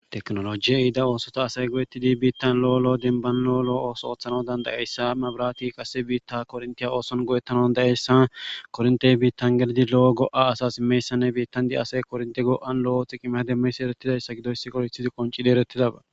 teknolojiye iida oosota asay godettidi biittan lo7olo denban lo7olo7o ooso ooththano dandayeyssa mabirati kase biitta korntiya ooson go7ettano dayeyssa korntey biittan gelidi lo7o go7a asa imeyssanne biittandi asay kornte go7an lo7othi qqime demmes erettidayssa gidoysi korithidi qoncidi erettidaba